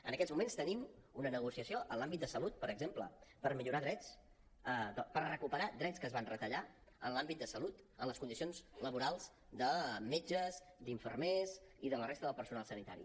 en aquests moments tenim una negociació en l’àmbit de salut per exemple per millorar drets per recuperar drets que es van retallar en l’àmbit de salut en les condicions laborals de metges d’infermers i de la resta del personal sanitari